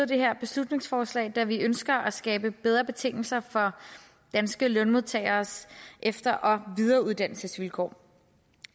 det her beslutningsforslag da vi ønsker at skabe bedre betingelser for danske lønmodtageres efter og videreuddannelsesvilkår